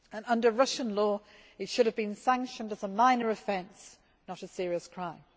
Under Russian law, it should have been sanctioned as a minor offence, not as a serious crime.